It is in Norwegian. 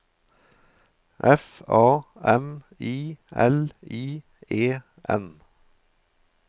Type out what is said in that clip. F A M I L I E N